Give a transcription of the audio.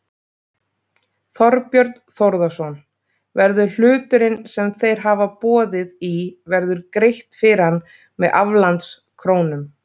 Þorbjörn Þórðarson: Verður hluturinn sem þeir hafa boðið í verður greitt fyrir hann með aflandskrónum?